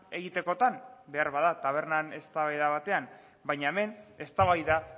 egitekotan beharbada tabernan eztabaida batean baina hemen eztabaida